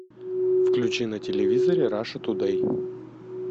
включи на телевизоре раша тудей